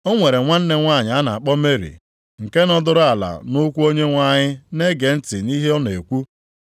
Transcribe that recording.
O nwere nwanne nwanyị a na-akpọ Meri nke nọdụrụ ala nʼụkwụ Onyenwe anyị na-ege ntị nʼihe ọ na-ekwu.